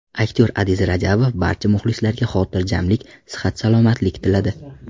Aktyor Adiz Rajabov barcha muxlislariga xotirjamlik, sihat-salomatlik tiladi.